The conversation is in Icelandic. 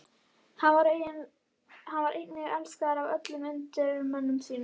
Hann var einnig elskaður af öllum undirmönnum sínum.